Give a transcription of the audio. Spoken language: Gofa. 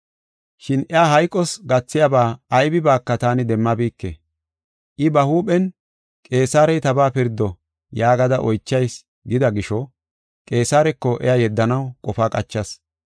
Shin iya hayqos gathiyaba aybibaaka taani demmabike. I ba huuphen, ‘Qeesarey tabaa pirdo yaagada oychayis’ gida gisho, Qeesareko iya yeddanaw qofa qachas.